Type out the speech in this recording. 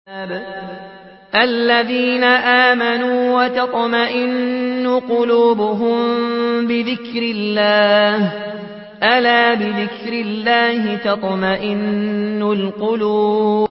الَّذِينَ آمَنُوا وَتَطْمَئِنُّ قُلُوبُهُم بِذِكْرِ اللَّهِ ۗ أَلَا بِذِكْرِ اللَّهِ تَطْمَئِنُّ الْقُلُوبُ